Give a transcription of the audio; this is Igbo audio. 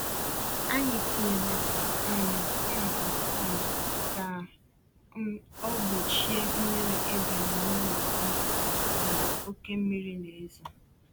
Anyị tinyere um pọmpụ sump ka um ọ um gbochie mmiri ịbanye n’ụlọ ndịda mgbe oké mmiri na-ezo.